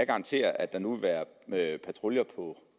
garantere at der nu vil være patruljer på